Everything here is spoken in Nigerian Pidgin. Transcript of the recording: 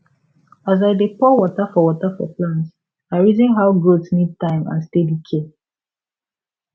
as i dey pour water for water for plant i reason how growth need time and steady care